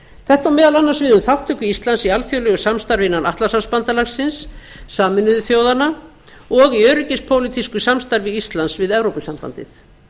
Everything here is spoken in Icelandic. þetta á meðal annars við um þátttöku íslands í alþjóðlegu samstarfi innan atlantshafsbandalagsins sameinuðu þjóðanna og í öryggispólitísku samstarfi íslands við evrópusambandið